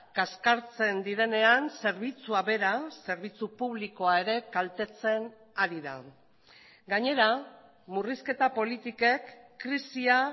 kaskartzen direnean zerbitzua bera zerbitzu publikoa ere kaltetzen ari da gainera murrizketa politikek krisia